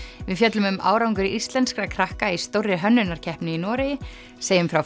við fjöllum um árangur íslenskra krakka í stórri hönnunarkeppni í Noregi segjum frá